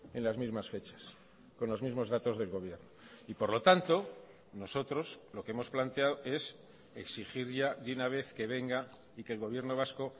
en las mismas fechas con los mismos datos del gobierno y por lo tanto nosotros lo que hemos planteado es exigir ya de una vez que venga y que el gobierno vasco